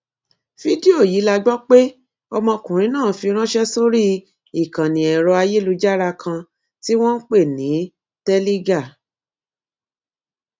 fídíò yìí la gbọ pé ọmọkùnrin náà fi ránṣẹ sórí ìkànnì ẹrọ ayélujára kan tí wọn ń pè ní teligar